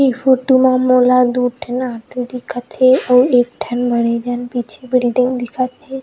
ए photo म मोला दू ठन ऑटो न दिखत हे अउ एक ठन बड़े जान पीछे बिल्डिंग दिखत हे।